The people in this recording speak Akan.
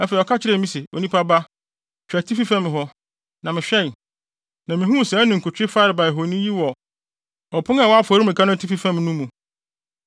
Afei ɔka kyerɛɛ me se, “Onipa ba, hwɛ atifi fam hɔ.” Na mehwɛe, na mihuu saa ninkutwe farebae honi yi wɔ ɔpon a ɛwɔ afɔremuka no atifi fam no mu.